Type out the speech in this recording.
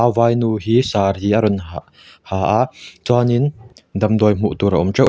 a vai nu hi saree a rawh hah ha a chuanin damdawi hmuh tur a awm teuh.